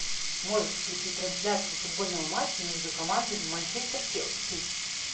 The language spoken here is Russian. можешь включить трансляцию футбольного матча между командами манчестер челси